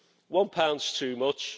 One pound is too much.